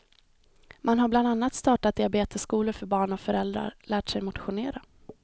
Man har bland annat startat diabetesskolor för barn och föräldrar, lärt sig motionera.